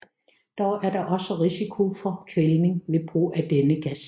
Dog er der også risiko for kvælning ved brug af denne gas